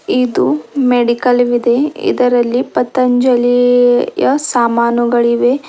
ಇದು ಮೆಡಿಕಲ್ ವಿದೆ ಇದರಲ್ಲಿ ಪತಂಜಲಿಯ ಸಾಮಾನುಗಳಿವೆ.